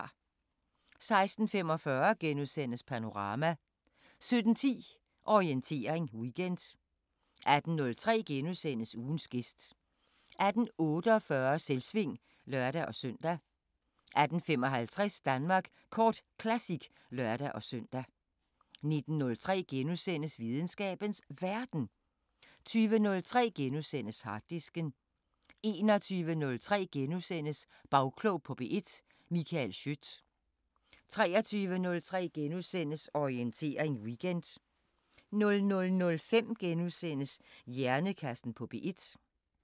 16:45: Panorama * 17:10: Orientering Weekend 18:03: Ugens gæst * 18:48: Selvsving (lør-søn) 18:55: Danmark Kort Classic (lør-søn) 19:03: Videnskabens Verden * 20:03: Harddisken * 21:03: Bagklog på P1: Michael Schiødt * 23:03: Orientering Weekend * 00:05: Hjernekassen på P1 *